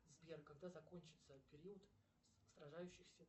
сбер когда закончится период сражающихся